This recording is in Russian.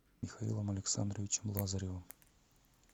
михаилом александровичем лазаревым